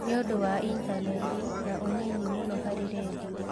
Nĩ ũndũ wa intaneti na ũnyinyi muno harĩ redio